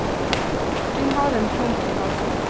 Hun har en klump i halsen.